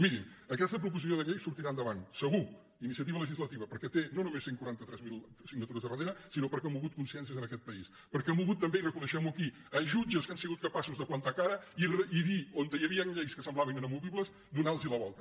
mirin aquesta proposició de llei sortirà endavant se·gur iniciativa legislativa perquè té no només cent i quaranta tres mil signatures al darrere sinó perquè ha mogut conscièn·cies en aquest país perquè ha mogut també i recone·guem·ho aquí jutges que han sigut capaços de plantar cara i dir on hi havia lleis que semblaven inamovi·bles donar·los la volta